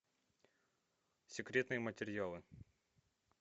секретные материалы